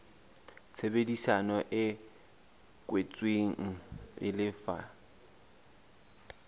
tshebedisano e kwetsweng e lefa